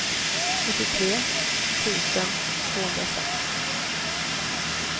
fyrtiotre tusen tvåhundrasex